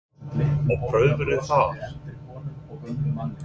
Jóhann: Og prufaðirðu þar?